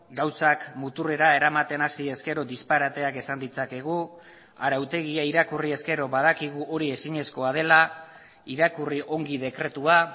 gauzak muturrera eramaten hasi ezkero disparateak esan ditzakegu arautegia irakurri ezkero badakigu hori ezinezkoa dela irakurri ongi dekretua